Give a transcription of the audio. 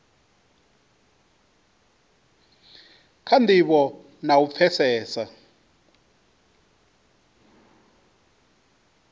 kha ndivho na u pfesesa